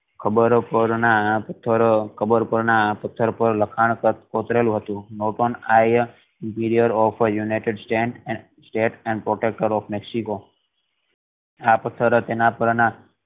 કબર પર ના પથ્થર કબર પર ના પથ્થર પર લખાણ કોતરેલું હતું I emperor of the united start states and protector of mexico આ પથ્થર અજ એના